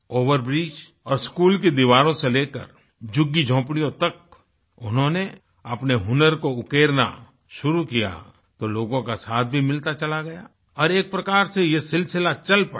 Over bridge और school की दीवारों से लेकर झुग्गीझोपड़ियों तक उन्होंने अपने हुनर को उकेरना शुरू किया तो लोगों का साथ भी मिलता चला गया और एक प्रकार से यह सिलसिला चल पड़ा